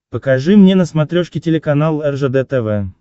покажи мне на смотрешке телеканал ржд тв